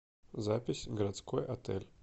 запись городской отель